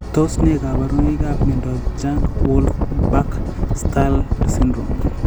Tos ne kaborunoikap miondop Jung Wolff Back Stahl syndrome?